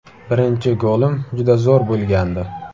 Birinchi golim juda zo‘r bo‘lgandi.